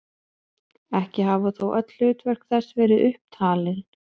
Ekki hafa þó öll hlutverk þess verið upp talin.